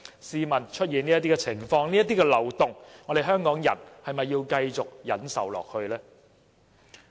試問出現這些情況和漏洞，香港人還要繼續忍受下去嗎？